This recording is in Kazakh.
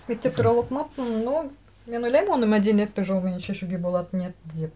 мектеп туралы оқымаппын но мен ойлаймын оны мәдениетті жолмен шешуге болатын еді деп